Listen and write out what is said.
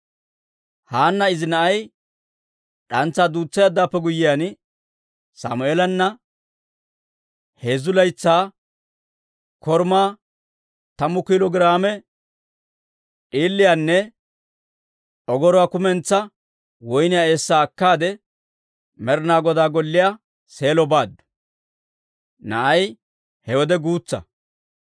Haanna izi na'ay d'antsaa duutseeddawaappe guyyiyaan, Sammeelanne heezzu laytsaa korumaa, tammu kiilo giraame d'iiliyaanne ogoruwaa kumentsaa woyniyaa eessaa akkaade Med'inaa Godaa golliyaa Seelo baaddu; na'ay he wode guutsa.